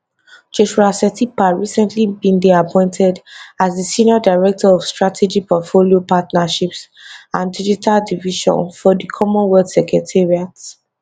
joshua setipa recently bin dey appointed as di senior director of strategy portfolio partnerships and digital division for di commonwealth secretariat